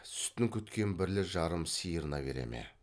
сүтін күткен бірлі жарым сиырына бере ме